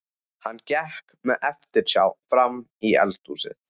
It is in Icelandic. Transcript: Hann gekk með eftirsjá frammí eldhúsið.